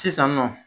Sisan nɔ